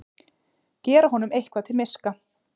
Gera honum eitthvað til miska!